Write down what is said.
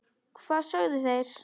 Hvað sögðu þeir?